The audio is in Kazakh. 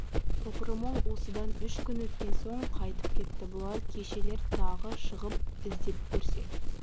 топыры мол осыдан үш күн өткен соң қайтып кетті бұлар кешелер тағы шығып іздеп көрсе